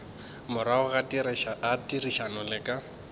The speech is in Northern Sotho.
morago ga therišano le ka